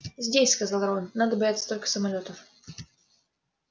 здесь сказал рон надо бояться только самолётов